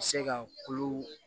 Se ka kulo